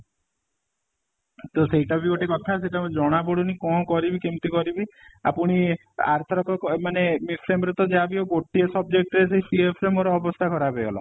ତ ସେଇଟା ବି ଗୋଟେ କଥା ସେଇଟା ଜଣା ପଡୁନି କ'ଣ କରିବି କେମିତି କରିବି ଆଉ ପୁଣି ଆର ଥରକ ମାନେ next time ରେ ତ ଯାହା ବି ହଉ ଗୋଟିଏ subject ସେଇ CF ରେ ମୋ ଅବସ୍ଥା ଖରାପ ହେଇ ଗଲା